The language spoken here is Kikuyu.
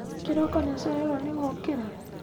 Kĩroko nĩ ũcereirwo nĩ gũkĩra